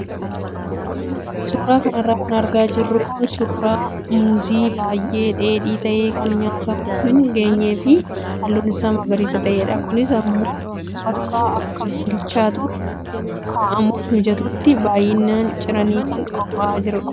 Suuraa kanarra kan argaa jirru kun suuraa muuzii baay'ee dheedhii ta'ee kan nyaatamuuf hin geenyee fi halluun isaa magariisa ta'edha. Kunis immoo bakka akka bilchaatuuf kaa'amuuf mijatutti baay'isanii ciranii kan qophaa'aa jirudha.